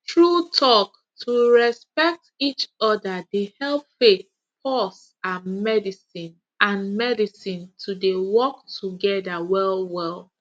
true talk to respect each other dey help faith pause and medicine and medicine to dey work together well well